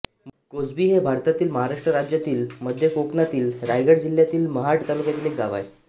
कोसबी हे भारतातील महाराष्ट्र राज्यातील मध्य कोकणातील रायगड जिल्ह्यातील महाड तालुक्यातील एक गाव आहे